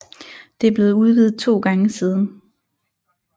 Det er blevet udvidet to gange siden